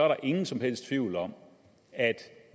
der ingen som helst tvivl om at